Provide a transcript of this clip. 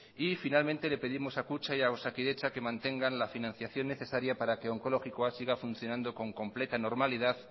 y finalmente le pedimos a kutxa y a osakidetza que mantengan la financiación necesaria para que onkologikoa siga funcionando con completa normalidad